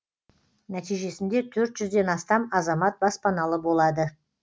нәтижесінде төрт жүзден астам азамат баспаналы болады